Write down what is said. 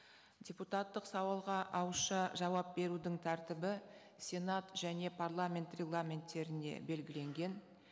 депутаттық сауалға ауызша жауап берудің тәртібі сенат және парламент регламенттерінде белгіленген